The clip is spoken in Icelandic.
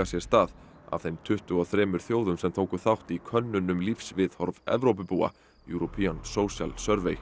sér stað af þeim tuttugu og þremur þjóðum sem tóku þátt í könnun um lífsviðhorf Evrópubúa European social